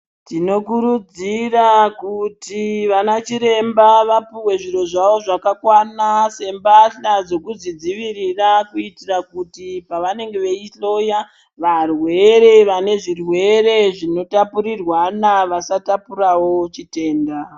Tinokurudzira kuti vanachiremba vapuhwe zviro zvavo zvakakwana sembatyla dzekuzvidzivirira kuitira kuti pavanenge veihloya varwere vanezvirwere zvinotapurirwana vasatapurawo chitenda.